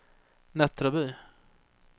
Nättraby